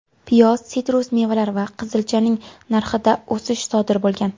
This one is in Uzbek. Piyoz, sitrus mevalar va qizilchaning narxida o‘sish sodir bo‘lgan.